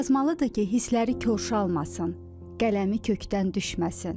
Yazmalıdır ki, hissləri korşalmasın, qələmi kökdən düşməsin.